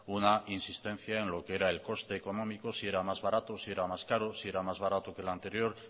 una insistencia en lo que era el coste económico si era más barato si era más caro si era más barato que el anterior